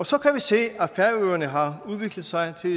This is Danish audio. så kan vi se at færøerne har udviklet sig til